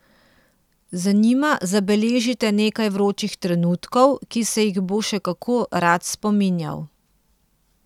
Z njima zabeležite nekaj vročih trenutkov, ki se jih bo še kako rad spominjal.